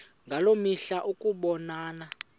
ngaloo mihla ukubonana